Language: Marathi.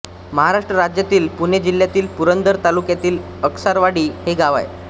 महाराष्ट्र राज्यातील पुणे जिल्ह्यातील पुरंदर तालुक्यात अस्कारवाडी हे गाव आहे